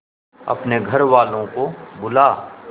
अपने घर वालों को बुला